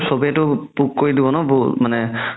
চ'বেতো কৰি দিব ন মানে